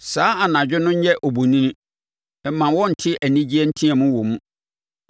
Saa anadwo no nyɛ obonini; mma wɔnnte anigyeɛ nteam wɔ mu.